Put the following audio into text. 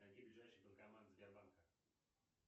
найди ближайший банкомат сбербанка